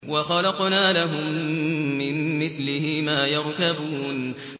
وَخَلَقْنَا لَهُم مِّن مِّثْلِهِ مَا يَرْكَبُونَ